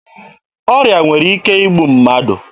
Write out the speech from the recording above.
Ọrịa nwere ike igbu mmadụ.